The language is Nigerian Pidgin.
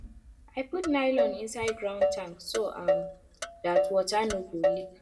i put nylon inside ground tank so um dat water no go leak